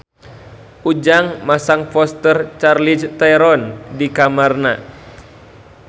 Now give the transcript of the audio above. Ujang masang poster Charlize Theron di kamarna